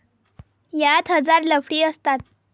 यात हजार लफडी असतात.